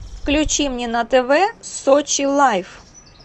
включи мне на тв сочи лайф